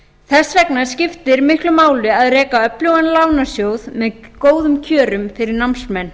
þess vegna skiptir miklu máli að reka öflugan lánasjóð með góðum kjörum fyrir námsmenn